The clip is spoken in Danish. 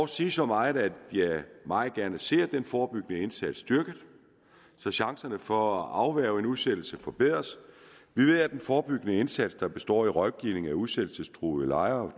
sige så meget at jeg meget gerne ser den forebyggende indsats styrket så chancerne for at afværge en udsættelse forbedres vi ved at den forebyggende indsats der består af rådgivning af udsættelsestruede lejere